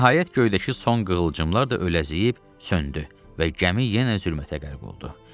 Nəhayət göydəki son qığılcımlar da ələziyib söndü və gəmi yenə zülmətə qərq oldu.